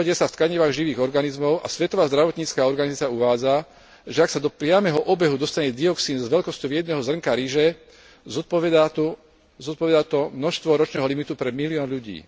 Hromadia sa v tkanivách živých organizmov a Svetová zdravotnícka organizácia uvádza, že ak sa do priameho obehu dostane dioxín s veľkosťou jedného zrnka ryže, zodpovedá to množstvu ročného limitu pre milión ľudí.